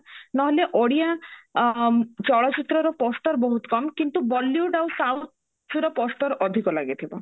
ନହେଲେ ଓଡିଆ ଅ ଚଳଚିତ୍ର ର ପୋସ୍ଟରେ ବହୁତ କମ କିନ୍ତୁ bollywood ଆଉ southର poster ଅଧିକ ଲାଗିଥିବ